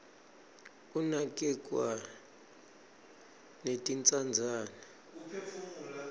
kinakerglwa netintsandzane